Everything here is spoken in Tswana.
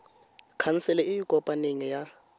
khansele e e kopaneng ya